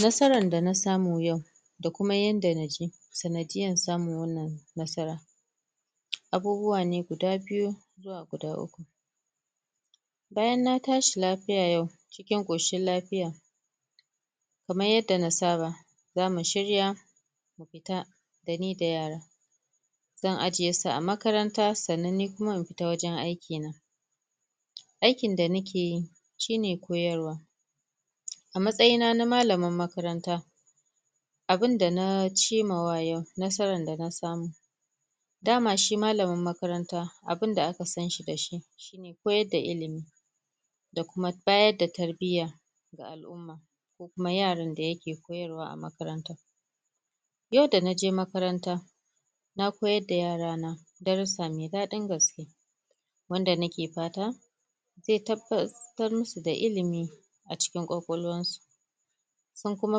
nasarar da na samu yau da kuma yanda naje sanadiyar samun wannan nasarar abubuwa ne guda biyu zuwa guda uku bayan na tashi lafiya yau cikin koshin lafiya kaman yadda na saba zamu shirya mu fita nida yara zan ajiyesu a makaranta san nan ni kuma na tafi wajen aiki aikin da nakeyi shine koyarwa a matsayina na malamar makaranta abun da na cimma wa yau nasarar da na samu dama shi malamin makaranta abunda da aka sanshi dashi koyar da ilimi da kuma bayar da tarbiya ga al'umma da kuma yaran da yake koyarwa a makarant yau da naje makaranta na koyar da yara na darusa mai daɗin gaske wanda nake fata zai tabbatar musu da ilimi acikin kwakwalwar su sun kuma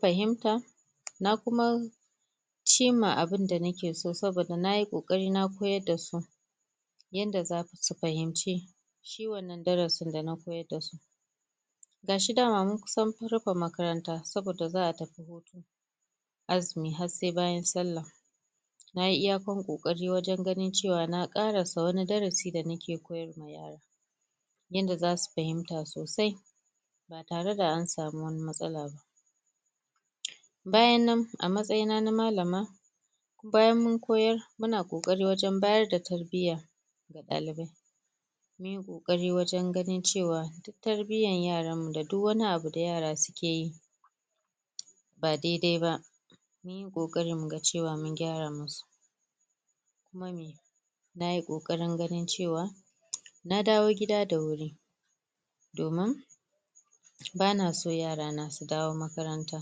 fahimta na kuma cimma abun da nake so saboda nayi kokari na koyarda su yadda zasu fahimci shi wannan darasi da na koyarda su gashi dama mun kusa rufe makaranta saboda za'a tafi azumi har sai bayan sallah nayi iya kan kokarin wajen ganin cewa na karasa wani darasi da nake koyarwa yara yanda zasu fahimta sosai ba tare da ansami wani matsala ba bayan nan a matsayina na malama bayan mun koyar muna kokari wajen bada tarbiya ma dalibai mun yi kokarin ganin cewa duk tarbiyar yaranmu da duk wani abu da yara su keyi ba daidai ba muyi kokari muga cewa mun gyara musu kuma nayi kokarin ganin cewa na dawo gida da wuri domin bana son yara na su dawo makaranta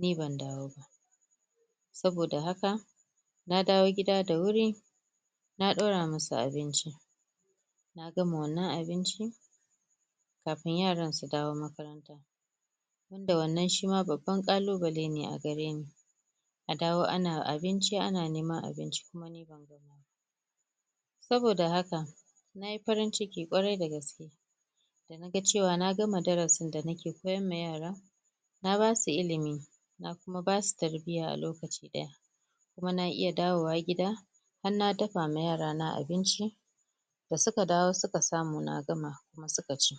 ni ban dawo ba saboda haka nadawo gida da wuri na ɗaura musu abinci na gama wannan abincin kafin yaran su dawo makaranta duk da wannnan shi ma babban ƙalubale ne a gareni adawo ana abinci ana neman abinci kuma ni banyi ba saboda haka nayi farin dana ga cewa na magama darasin na ke koyarma yara na basu ilimi na kuma basu tarbiya a lokaci ɗaya kuma na iya dawo gida har na dafawa yara na abinci da suka dawo suka na gama kuma suka ci